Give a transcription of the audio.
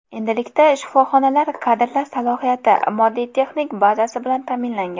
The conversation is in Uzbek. Endilikda shifoxonalar kadrlar salohiyati, moddiy texnik bazasi bilan ta’minlangan.